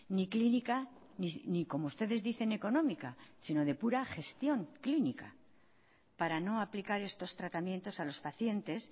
ni clínica ni como ustedes dicen económica sino de pura gestión clínica para no aplicar estos tratamientos a los pacientes